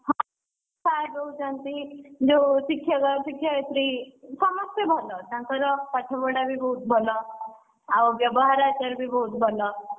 ହଁ Sir ରହୁଛନ୍ତି, ଯୋଉ ଶିକ୍ଷକ ଶିକ୍ଷୟତ୍ରୀ, ସମସ୍ତେ ଭଲ ତାଙ୍କର ପାଠ ପଢା ବି ବହୁତ୍ ଭଲ, ଆଉ ବ୍ୟବହାର ଆଚାର ବି ବହୁତ୍ ଭଲ।